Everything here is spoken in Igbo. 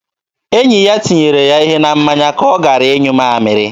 Enyi ya tinyere ya ihe na mmanya ka ọ gara ịnyụ mamịrị.